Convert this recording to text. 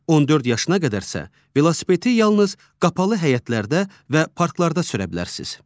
14 yaşına qədərsə, velosipedi yalnız qapalı həyətlərdə və parklarda sürə bilərsiniz.